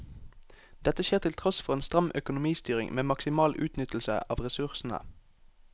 Dette skjer til tross for en stram økonomistyring med maksimal utnyttelse av ressursene.